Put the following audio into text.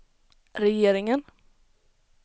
regeringen